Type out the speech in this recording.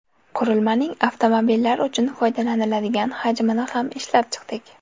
Qurilmaning avtomobillar uchun foydalaniladigan hajmini ham ishlab chiqdik.